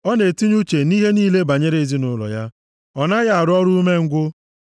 Ọ na-etinye uche nʼihe niile banyere ezinaụlọ ya, ọ naghị arụ ọrụ umengwụ.